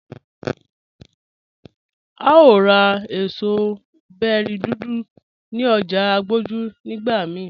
À o rá èṣọ̀ bẹ̀ri dúdú ní ọ̀jà Agboju nigbà míì